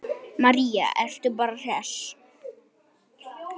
María: Ertu bara hress?